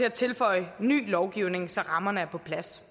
at tilføje ny lovgivning så rammerne er på plads